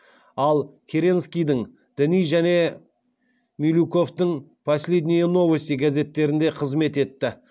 ал керенскийдің дни және милюковтың последние новости газеттерінде қызмет етті